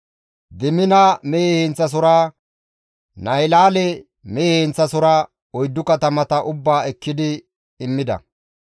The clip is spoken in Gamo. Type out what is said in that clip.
Diimina mehe heenththasohora, Nahilaale mehe heenththasohora, oyddu katamata ubbaa ekkidi immida.